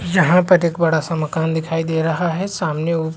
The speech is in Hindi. यहाँ पर एक बड़ा सा मकान दिखाई दे रहा है | सामने उप --